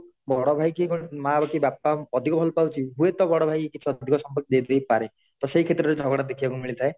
ବଡ ଭାଇ କି ମାଆ ର କି ବାପା ର ଅଧିକ ଭଲ ପାଉଚି ହୁଏତ ବଡ ଭାଇ କିଛି ଅଧିକ ସଂମ୍ପତି ଦେଇ ଦେଇପାରେ ତ ସିଏ କ୍ଷେତ୍ର ରେ ଝଗଡା ଦେଖିବାକୁ ମିଳି ଥାଏ